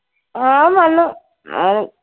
ആ അവൻ വന്നു അഹ്